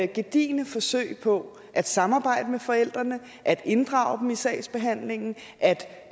gedigne forsøg på at samarbejde med forældrene at inddrage dem i sagsbehandlingen at